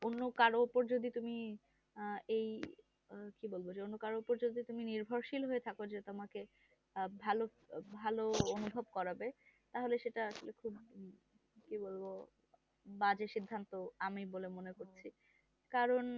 কি বলবো যে অন্য কারো যদি তুমি নির্ভরশীল হয়ে থাকো যে তোমাকে আহ ভালো ভালো অনুভব করবে তাহলে সেটা আসলে খুব কি বলবো বাজে সিদ্ধান্ত আমি বলে মনে করছি কারণ